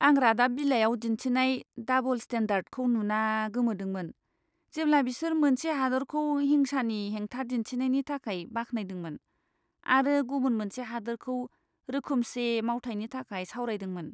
आं रादाब बिलाइयाव दिन्थिनाय डाबोल स्टेन्डार्डखौ नुना गोमोदोंमोन, जेब्ला बिसोर मोनसे हादोरखौ हिंसानि हेंथा दिन्थिनायनि थाखाय बाख्नायदोंमोन आरो गुबुन मोनसे हादोरखौ रोखोमसे मावथायनि थाखाय सावरायदोंमोन।